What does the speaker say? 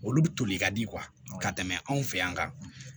Olu bɛ toli ka di ka tɛmɛ anw fɛ yan